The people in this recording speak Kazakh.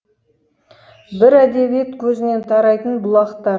бір әдебиет көзінен тарайтын бұлақта